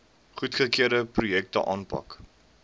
goedgekeurde projekte aanpak